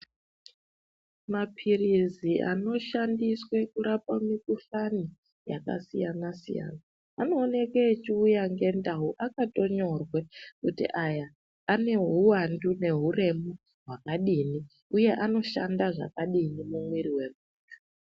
Mapirizi anoshandiswe kurapa mukuhlani yakasiyana siyana anooneke echiuya ngendau akatonyorwe kuti aya ane huwandu nehuremu hwakadini uye anoshanda zvakadini mumwiri wedu